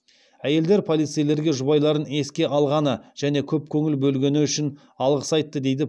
әйелдер полицейлерге жұбайларын еске алғаны және көп көңіл бөлгені үшін алғыс айтты дейді